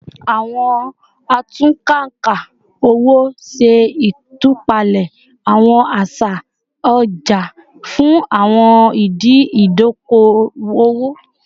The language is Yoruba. Awọn atunnkanka owo ṣe itupalẹ awọn aṣa ọja fun awọn idi idoko-owo